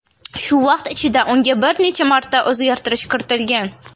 Shu vaqt ichida unga bir necha marta o‘zgartirish kiritilgan.